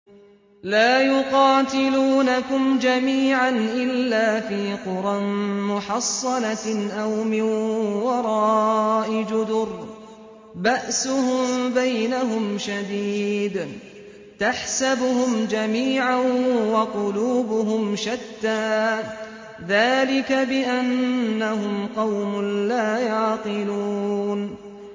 لَا يُقَاتِلُونَكُمْ جَمِيعًا إِلَّا فِي قُرًى مُّحَصَّنَةٍ أَوْ مِن وَرَاءِ جُدُرٍ ۚ بَأْسُهُم بَيْنَهُمْ شَدِيدٌ ۚ تَحْسَبُهُمْ جَمِيعًا وَقُلُوبُهُمْ شَتَّىٰ ۚ ذَٰلِكَ بِأَنَّهُمْ قَوْمٌ لَّا يَعْقِلُونَ